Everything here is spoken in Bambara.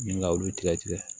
Min ka olu tigɛ tigɛ